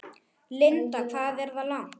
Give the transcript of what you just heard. Linda: Hvað er það langt?